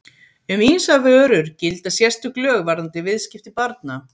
Um ýmsar vörur gilda sérstök lög varðandi viðskipti barna.